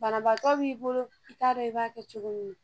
Banabaatɔ b'i bolo i taa i b'a kɛ cogo min na.